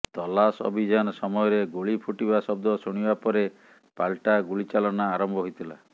ତଲାସ ଅଭିଯାନ ସମୟରେ ଗୁଳି ଫୁଟିବା ଶବ୍ଦ ଶୁଣିବା ପରେ ପାଲଟା ଗୁଳିଚାଳନା ଆରମ୍ଭ ହୋଇଥିଲା